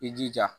I jija